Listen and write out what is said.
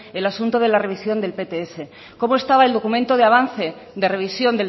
el asunto de la revisión del pts cómo estaba el documento de avance de revisión